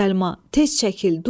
Tez çəkil, durma.